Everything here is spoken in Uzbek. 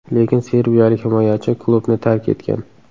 Lekin serbiyalik himoyachi klubni tark etgan.